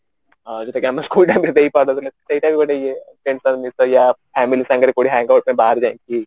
ଆଁ ଜଉଟା କି ଆମେ school time ରେ ଦେଇପାରୁନଥିଲେ ସେଇଟା ବି ଗୋଟେ ଇଏ friends ସହ ମିସ family ସାଙ୍ଗରେ କଉଠି hangout ପାଇଁ ବାହାରକୁ ଯାଇକି